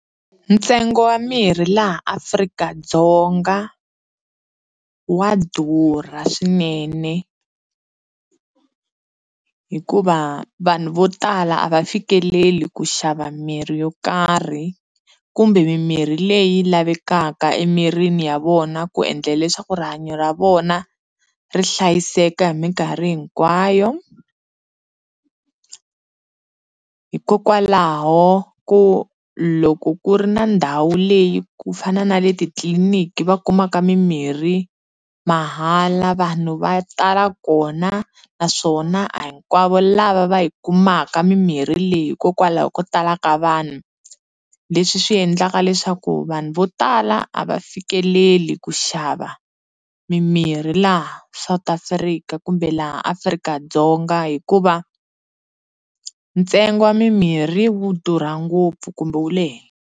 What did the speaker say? Ntsengo wa mirhi laha Afrika-Ddzonga wa durha swinene hikuva vanhu vo tala a va fikeleli ku xava mirhi yo karhi kumbe mimirhi leyi lavekaka emirini ya vona ku endla leswaku rihanyo ra vona ri hlayiseka hi minkarhi hinkwayo hikokwalaho ku loko ku ri na ndhawu leyi ku fana na le titliliniki va kumaka mimirhi mahala vanhu va tala kona naswona a hinkwavo lava va yi kumaka mimirhi leyi hikokwalaho ko tala ka vanhu leswi swi endlaka leswaku vanhu vo tala a va fikeleli ku xava mimirhi laha South Africa kumbe laha Afrika-Dzonga hikuva ntsengo wa mimirhi wu durha ngopfu kumbe wu le .